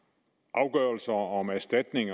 afgørelser om erstatning